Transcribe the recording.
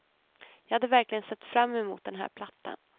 Jag hade verkligen sett fram emot den här plattan.